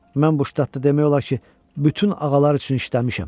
Mən bu ştatda demək olar ki, bütün ağalar üçün işləmişəm.